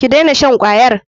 Ki dena shan kwayar.